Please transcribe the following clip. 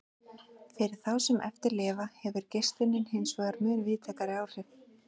Fyrir þá sem eftir lifa hefur geislunin hinsvegar mun víðtækari áhrif.